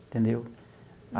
Entendeu?